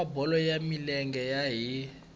wa bolo ya milenge hi